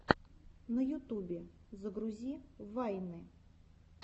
на ютубе загрузи вайны